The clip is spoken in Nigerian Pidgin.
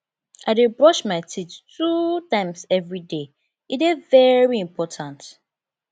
i dey brush my teeth two times everyday e dey very important